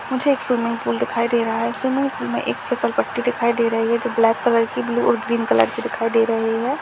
मुझे एक swimming pool दिखाई दे रहा है स्विमिंग पूल में एक फिसल पट्टी दिखाई दे रही है जो ब्लैक कलर की ब्लू और ग्रीन कलर की दिखाई दे रही है।